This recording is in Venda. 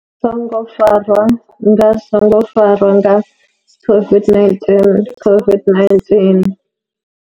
Songo farwa nga songo farwa nga COVID-19 COVID-19.